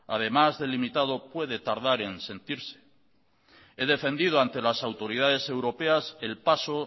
además de limitado puede tardar en sentirse he defendido ante las autoridades europeas el paso